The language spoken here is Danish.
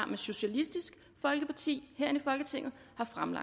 med socialistisk folkeparti herinde i folketinget